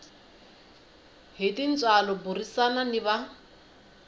hi tintswalo burisana ni va